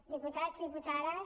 diputats diputades